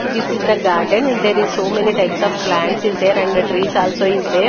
This is the garden and there is so many types of plants is there and trees also is there.